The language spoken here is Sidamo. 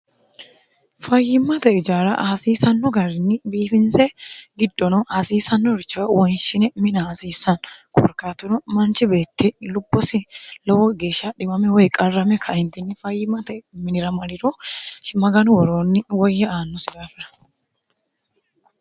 fayyimmate ijaara hasiisanno garinni biifinse giddono hasiisannorich woynshine mina hasiissan kuurkatuno manchi beetti lubbosi lowo geeshsha dhimame woy qarrame ka"entini fayyimmate minira mariro maganu woroonni woyya aannosi daafira